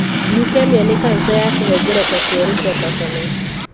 Leukemia nĩ kanca ya tũhengereta tũerũ twa thakame.